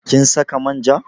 Kin saka manja?